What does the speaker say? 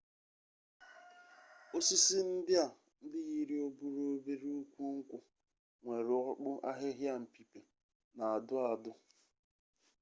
osisi ndia ndi yiri oburu obere ukwu nkwu nwere okpu ahihia mpipi na adu-adu